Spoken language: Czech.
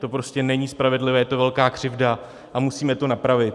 To prostě není spravedlivé, je to velká křivda a musíme to napravit.